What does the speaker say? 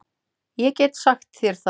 Ég get sagt þér það